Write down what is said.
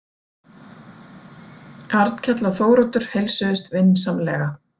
Arnkell og Þóroddur heilsuðust vinsamlega.